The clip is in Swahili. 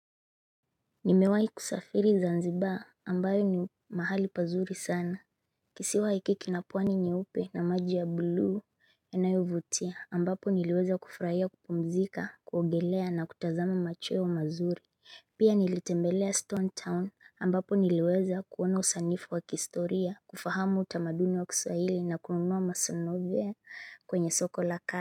Nimewahi kusafiri zanzibar ambayo ni mahali pazuri sana Kisiwa hiki kina pwani nyeupe na maji ya blue yanayovutia ambapo niliweza kufurahia kupumzika kuogelea na kutazama macheo mazuri Pia nilitembelea stone town ambapo niliweza kuona usanifu wa kistoria kufahamu utamaduni wa kiswahili na kununua masanove kwenye soko la ka.